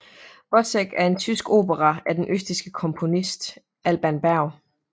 Wozzeck er en tysk opera af den østrigske komponist Alban Berg